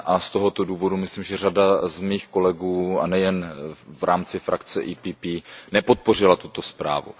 A z tohoto důvodu myslím, že řada mých kolegů, a nejen v rámci frakce PPE, nepodpořila tuto zprávu.